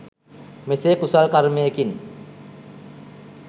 මෙසේ කුසල් කර්මයකින්